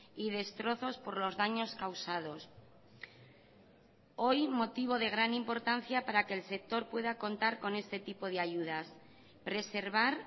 y destrozos por los daños causados hoy motivo de gran importancia para que el sector pueda contar con este tipo de ayudas preservar